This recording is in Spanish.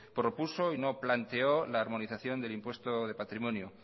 propuso y no planteó la armonización del impuesto de patrimonio